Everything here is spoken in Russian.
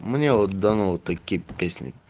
мне вот дано такие песни